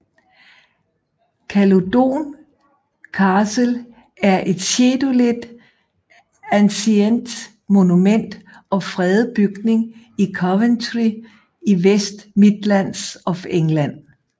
Caludon Castle er et Scheduled Ancient Monument og fredet bygning i Coventry i West Midlands of England